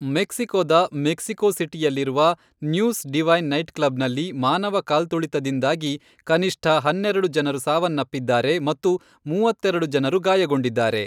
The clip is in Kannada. ಮೆಕ್ಸಿಕೋದ, ಮೆಕ್ಸಿಕೋ ಸಿಟಿಯಲ್ಲಿರುವ ನ್ಯೂಸ್ ಡಿವೈನ್ ನೈಟ್ಕ್ಲಬ್ನಲ್ಲಿ ಮಾನವ ಕಾಲ್ತುಳಿತದಿಂದಾಗಿ ಕನಿಷ್ಠ ಹನ್ನೆರೆಡು ಜನರು ಸಾವನ್ನಪ್ಪಿದ್ದಾರೆ ಮತ್ತು ಮೂವತ್ತೆರೆಡು ಜನರು ಗಾಯಗೊಂಡಿದ್ದಾರೆ.